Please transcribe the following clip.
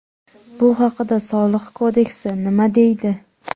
Bu haqida Soliq kodeksi nima deydi?